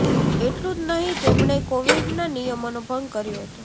એટલું જ નહીં તેમણે કોવિડના નિયમોનો ભંગ કર્યો હતો